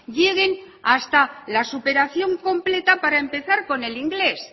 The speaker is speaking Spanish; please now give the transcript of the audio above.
lleguen hasta la superación completa para empezar con el inglés